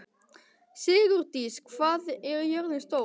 Sigurdís, hvað er jörðin stór?